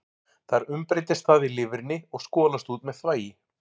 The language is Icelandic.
Þar umbreytist það í lifrinni og skolast út með þvagi.